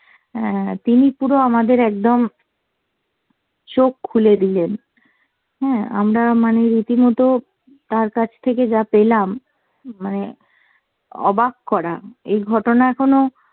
অ্যাঁ তিনি পুরো আমাদের একদম চোখ খুলে দিলেন। হ্যাঁ আমরা মানে রীতিমত তার কাছ থেকে যা পেলাম মানে অবাক করা। এই ঘটনা এখনও